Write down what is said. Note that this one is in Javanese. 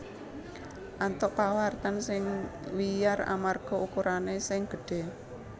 antuk pawartan sing wiyar amarga ukurané sing gedhé